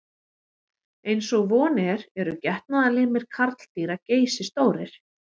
Eins og von er eru getnaðarlimir karldýra geysistórir.